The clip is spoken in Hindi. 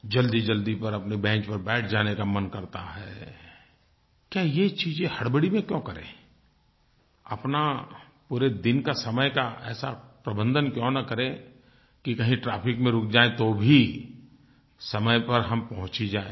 जल्दीजल्दी पर अपने बेंच पर बैठ जाने का मन करता है क्या ये चीज़ें हड़बड़ी में क्यों करें अपना पूरे दिन का समय का ऐसा प्रबंधन क्यों न करें कि कहीं ट्रैफिक में रुक जाएँ तो भी समय पर हम पहुँच ही जाएँ